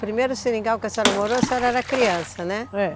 Primeiro seringal que a senhora morou, a senhora era criança, né?